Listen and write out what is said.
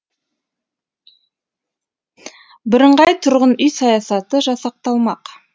бірыңғай тұрғын үй саясаты жасақталмақ